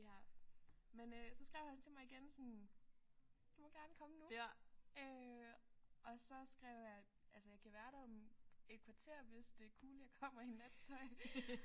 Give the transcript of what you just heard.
Ja men øh så skrev han til mig igen sådan du må gerne komme nu øh og så skrev jeg altså jeg kan være der om et kvarter hvis det er cool jeg kommer i nattøj